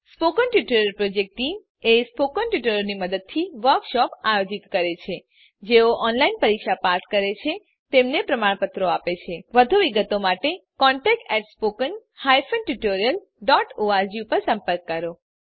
spoken tutorial project team spoken ટ્યુટોરીયલોનાં મદદથી વર્કશોપોનું આયોજન કરે છે જેઓ ઓનલાઈન પરીક્ષા પાસ કરે છે તેમને પ્રમાણપત્રો આપે છે વધુ વિગત માટે કૃપા કરી contactspoken tutorialorg પર સંપર્ક કરો